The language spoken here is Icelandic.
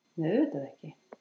Nei, auðvitað ekki!